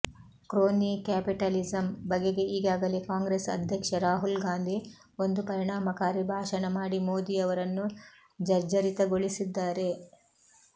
ಕ್ರೋನೀ capitalism ಬಗೆಗೆ ಈಗಾಗಲೇ ಕಾಂಗ್ರೆಸ್ ಅಧ್ಯಕ್ಷ ರಾಹುಲ್ಗಾಂಧಿ ಒಂದು ಪರಿಣಾಮಕಾರಿ ಭಾಷಣ ಮಾಡಿ ಮೋದಿಯವರನ್ನು ಜರ್ಝರಿತಗೊಳಿಸಿದ್ದಾರೆ